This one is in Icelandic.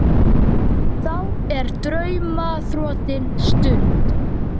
Þá er drauma þrotin stund.